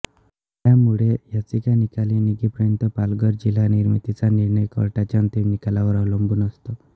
त्यामुळे याचिका निकाली निघेपर्यंत पालघर जिल्हा निर्मितीचा निर्णय कोर्टाच्या अंतिम निकालावर अवलंबून होता